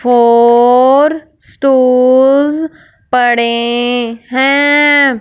Four store पड़े हैं।